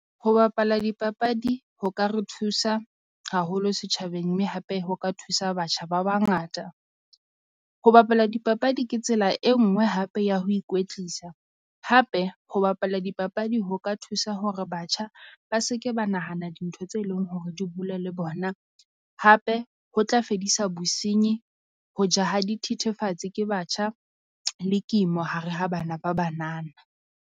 Ho bapala dipapadi ho ka re thusa haholo setjhabeng mme hape ho ka thusa batjha ba bangata. Ho bapala dipapadi ke tsela e nngwe hape ya ho ikwetlisa, hape ho bapala dipapadi ho o ka thusa hore batjha ba se ke ba nahana dintho tse leng hore di bula le bona. Hape ho tla fedisa bosinyi ho ja ha dithethefatsi ke batjha le kimo hare ha bana ba banana.